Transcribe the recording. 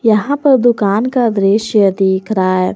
यहां पर दुकान का दृश्य दिख रहा है।